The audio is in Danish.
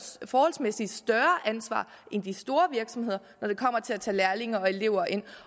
forholdsmæssig større ansvar end de store virksomheder når det kommer til at tage lærlinge og elever ind